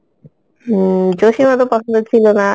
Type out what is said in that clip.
উম জোশী আমার অত পছন্দ ছিল না